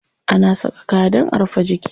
Ana saka kaya dan a rufe jiki.